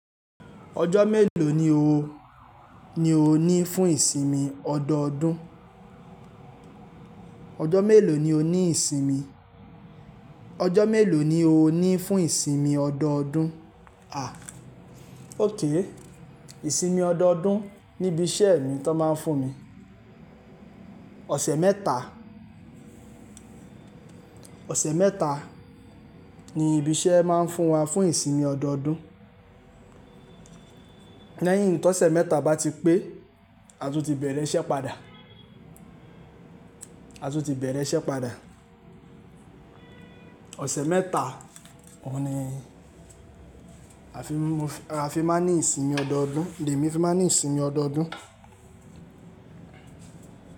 Ọjọ́ mélòó ni o ni fún ìsinmi ọdọọdún? Ọjọ́ mélòó ni o ní ìsinmi? Ọjọ́ mélòó ni o ní fún ìsinmi ọdọọdún? A, ok, ìsinmi ọdọọdún níbi iṣẹ́ mi tan máa ń fún mi. Ọ̀sẹ̀ mẹ́ta, ọ̀sẹ̀ mẹ́ta ni ibi iṣẹ́ máa ń fún wa fún ìsinmi ọdọọdún. Lẹ́yìn tó ọ̀sẹ̀ mẹ́ta bá ti pé, a tún ti bẹ̀rẹ̀ iṣẹ́ padà. A tún ti bẹ̀rẹ̀ iṣẹ́ padà. Ọ̀sẹ̀ mẹ́ta, òun ni a fi máa ń ní ìsinmi ọdọọdún. Lè mi fi máa ń ní ìsinmi ọdọọdún.